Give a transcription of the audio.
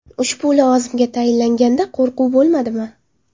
Ushbu lavozimga tayinlanganda qo‘rquv bo‘lmadimi?